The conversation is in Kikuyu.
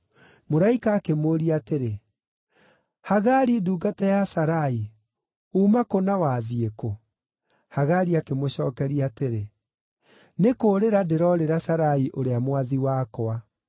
Mũraika akĩmũũria atĩrĩ, “Hagari ndungata ya Sarai, uuma kũ na wathiĩ kũ?” Hagari akĩmũcookeria atĩrĩ, “Nĩ kũũrĩra ndĩroorĩra Sarai ũrĩa mwathi wakwa.”